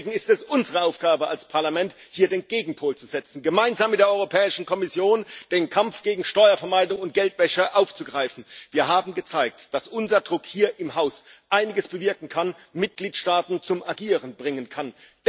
Deswegen ist es unsere Aufgabe als Parlament, hier den Gegenpol zu setzen, gemeinsam mit der Europäischen Kommission den Kampf gegen Steuervermeidung und Geldwäsche aufzugreifen. Wir haben gezeigt, dass unser Druck hier im Haus einiges bewirken kann, Mitgliedstaaten zum Agieren bringen kann.